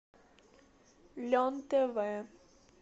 лен тв